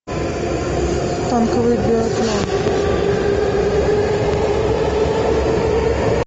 танковый биатлон